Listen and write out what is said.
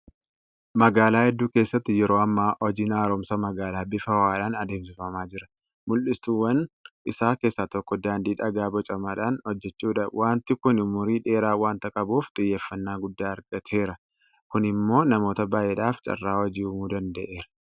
Magaalaa hedduu keessatti yeroo ammaa hojiin haaromsa magaalaa bifa ho'aadhaan adeemsifamaa jira. Mul'isuuwwan isaa keessaa tokko daandii dhagaa bocamaadhaan hojjechuudha. Waanti kun umurii dheeraa waanta qabuuf xiyyeeffannaa guddaa argateera. Kun immoo namoota baay'eedhaaf carraa hojii uumuu danda'eera.